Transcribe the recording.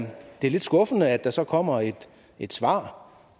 lidt skuffende at der så kommer et svar